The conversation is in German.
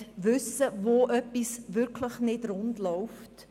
Ich möchte wissen, wo etwas nicht rund läuft.